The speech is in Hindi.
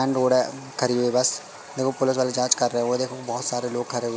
मेन रोड है खड़ी हुई बस देखो पुलिस वाले जांच कर रहे है वो देखो बहुत सारे लोग खड़े हुए--